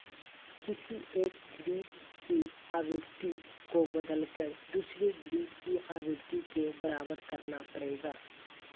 किसी एक ग्रिड की आवृत्ति को बदलकर दूसरे ग्रिड की आवृत्ति के बराबर करना पड़ेगा